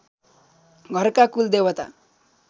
घरका कुलदेवता